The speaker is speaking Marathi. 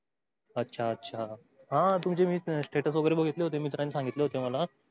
अच्छा अच्छा. हा तुमचे मी status वगेरे बगीत्लो होते. मित्रांनी संगीत्लो होते मला.